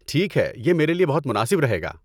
ٹھیک ہے، یہ میرے لیے بہت مناسب رہے گا۔